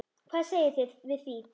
Hvað segið þið við því?